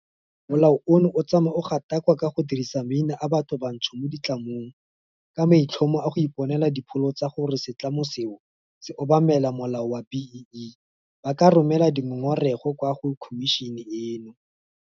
Molao ono o tsamaya o gatakakwa ka go dirisa maina a bathobantsho mo ditlamong ka maitlhomo a go iponela dipholo tsa gore setlamo seo se obamela molao wa B-BBEE, ba ka romela ngongora eno kwa go khomišene eno.